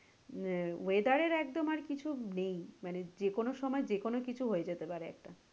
যে weather এর একদম আর কিছু নেই মানে যেকোনো সময়ে যেকোনো কিছু হয়ে যেতে পারে একটা।